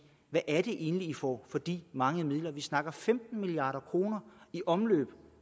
hvad er det egentlig i får for de mange midler vi snakker om femten milliard kroner i omløb